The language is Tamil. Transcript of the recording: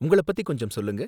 உங்கள பத்தி கொஞ்சம் சொல்லுங்க